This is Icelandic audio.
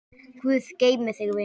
Guð geymi þig, vinur.